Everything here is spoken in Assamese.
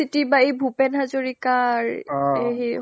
university বা এই ভূপেন হাজৰিকাৰ সেই